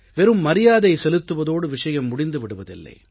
வெறும் மரியாதை செலுத்துவதோடு விஷயம் முடிந்து விடுவதில்லை